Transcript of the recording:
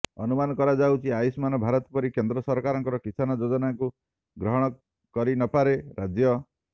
ଅନୁମାନ କରାଯାଉଛି ଆୟୁଷ୍ମାନ ଭାରତ ପରି କେନ୍ଦ୍ର ସରକାରଙ୍କ କିଷାନ ଯୋଜନାକୁ ଗ୍ରହଣ କରିନପାରେ ରାଜ୍ୟ